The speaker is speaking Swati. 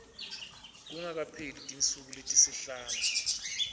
kungakapheli tinsuku letisihlanu